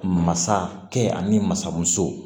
Masakɛ ani masa muso